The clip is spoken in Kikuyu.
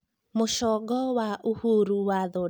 mũcongo wa uhuru wathodekirwo rĩ